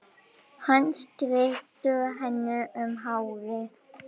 Hann strýkur henni um hárið.